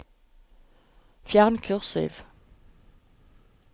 Fjern kursiv